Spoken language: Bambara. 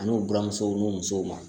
An'u buramusow n'u musow ma